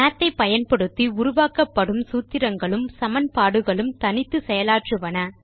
மாத் ஐ பயன்படுத்தி உருவாக்கப்படும் சூத்திரங்களும் சமன்பாடுகளும் தனித்து செயலாற்றுவன